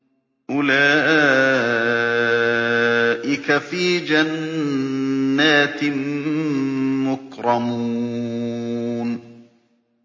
أُولَٰئِكَ فِي جَنَّاتٍ مُّكْرَمُونَ